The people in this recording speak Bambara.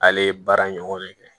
Ale ye baara ɲɔgɔn de kɛ